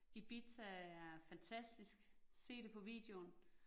Ibiza er fantastisk, se det på videoen